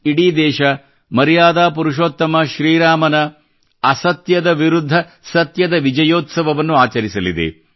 ಇಡೀ ದೇಶ ಮರ್ಯಾದಾ ಪುರುಷೋತ್ತಮ ಶ್ರೀ ರಾಮನ ಸುಳ್ಳಿನ ವಿರುದ್ಧ ಸತ್ಯದ ವಿಜಯೋತ್ಸವವನ್ನು ಆಚರಿಸಲಿದೆ